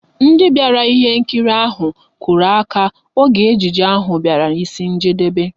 Ndị bịara ihe nkiri ahụ, kụrụ aka oge ejije ahụ bịara n'isi njedebe